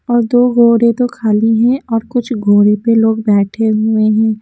और दो घोड़े तो खाली हैं और कुछ घोड़े पे लोग बैठे हुए हैं।